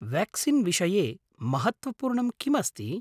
Vaccine विषये महत्त्वपूर्णं किम् अस्ति?